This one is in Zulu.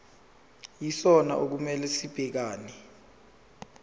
yisona okumele sibhekane